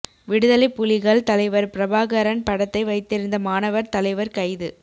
விடுதலை புலிகள் தலைவர் பிரபாகரன் படத்தை வைத்திருந்த மாணவர் தலைவர் கைது